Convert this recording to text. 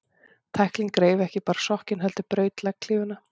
Tæklingin reif ekki bara sokkinn, heldur braut legghlífina.